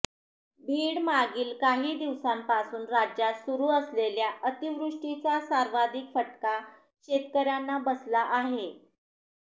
बीड मागील काही दिवसांपासून राज्यात सुरू असलेल्या अतिवृष्टीचा सर्वाधिक फटका शेतकऱ्यांना बसला आहे